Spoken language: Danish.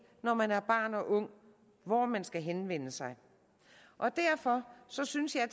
når man er barn og ung hvor man skal henvende sig derfor synes synes jeg at